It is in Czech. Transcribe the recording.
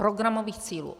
Programových cílů.